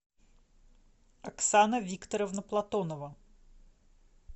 оксана викторовна платонова